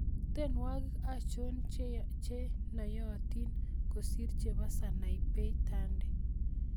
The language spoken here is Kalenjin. Tienwokik achon chenoyotin kosir chebo Sanai Tande